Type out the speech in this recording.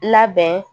Labɛn